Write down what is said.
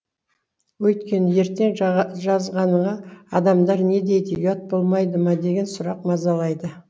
өйткені ертең жазғаныңа адамдар не дейді ұят болмайды ма деген сұрақ мазалайды